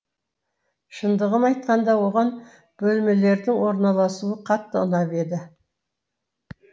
шындығын айтқанда оған бөлмелердің орналасуы қатты ұнап еді